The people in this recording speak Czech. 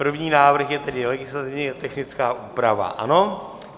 První návrh je tedy legislativně technická úprava, ano?